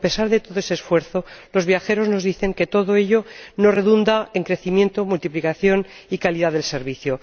A pesar de todo ese esfuerzo, los viajeros nos dicen que todo ello no redunda en crecimiento, multiplicación y calidad del servicio.